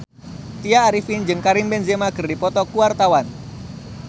Tya Arifin jeung Karim Benzema keur dipoto ku wartawan